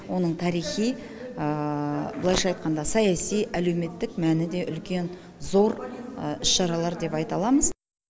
оның тарихи былайша айтқанда саяси әлеуметтік мәні де үлкен зор іс шаралар деп айта аламыз